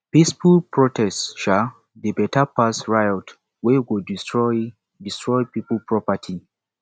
peaceful protest um dey beta pass riot wey go destroy destroy pipo property